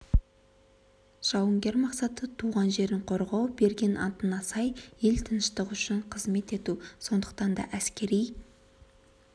жауынгер мақсаты туған жерін қорғау берген антына сай ел тыныштығы үшін қызмет ету сондықтан да әскери